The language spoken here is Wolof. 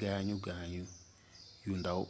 gaañu gaañu yu ndaw